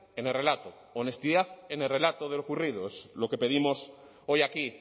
en el relato honestidad en el relato de lo ocurrido es lo que pedimos hoy aquí